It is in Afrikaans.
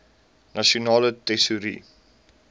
nasionale tesourie